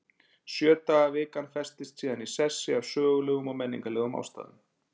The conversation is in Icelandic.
Sjö daga vikan festist síðan í sessi af sögulegum og menningarlegum ástæðum.